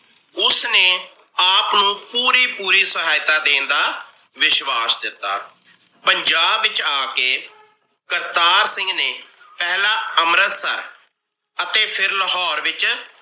ਉਸਨੇ ਆਪ ਨੂੰ ਪੂਰੀ ਪੂਰੀ ਸਹਾਇਤਾ ਦੇਣ ਦਾ ਵਿਸ਼ਵਾਸ ਦਿਤਾ। ਪੰਜਾਬ ਵਿਚ ਆ ਕੇ ਕਰਤਾਰ ਸਿੰਘ ਨੇ ਪਹਿਲਾ ਅੰਮ੍ਰਿਤਸਰ ਅਤੇ ਫਿਰ ਲਾਹੌਰ ਵਿਚ